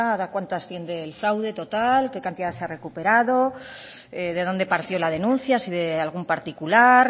de a cuánto asciende el fraude total qué cantidad se ha recuperado de dónde partió la denuncia si de algún particular